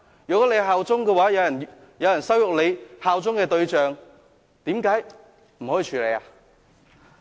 如果大家效忠的話，有人羞辱大家效忠的對象，為何不可以處理？